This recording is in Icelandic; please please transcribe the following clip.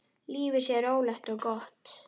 Lífið sé rólegt og gott.